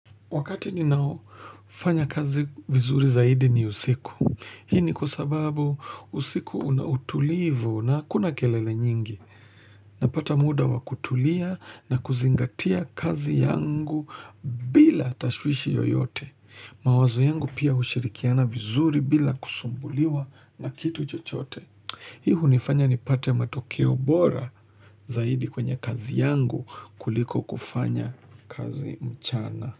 Wakati ni nao, fanya kazi vizuri zaidi ni usiku. Hii ni kwa sababu usiku unautulivu na hakuna kelele nyingi. Napata muda wa kutulia na kuzingatia kazi yangu bila tashwishi yoyote. Mawazo yangu pia hushirikiana vizuri bila kusumbuliwa na kitu chochote. Hii hunifanya nipate matokeo bora zaidi kwenye kazi yangu kuliko kufanya kazi mchana.